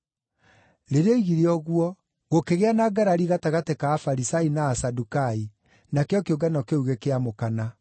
Rĩrĩa oigire ũguo, gũkĩgĩa na ngarari gatagatĩ ka Afarisai na Asadukai, nakĩo kĩũngano kĩu gĩkĩamũkana.